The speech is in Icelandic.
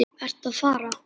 Ertu að fara?